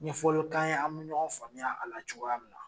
Ɲɛfɔli k'an ye an be ɲɔgɔn faamuy'a la cogoya min na